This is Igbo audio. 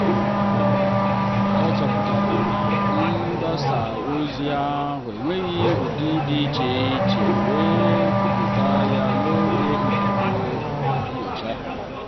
ọ chọpụtara na mgbasa ozi ahụ enweghị ụdị dị iche iche wee kwupụta ya n'oge nzukọ nyocha.